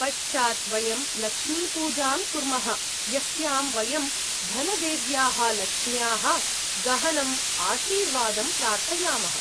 पश्चात् वयं 'लक्ष्मीपूजां' कुर्मः, यस्यां वयं धनदेव्याः लक्ष्म्याः गहनम् आशीर्वादं प्रार्थयामः।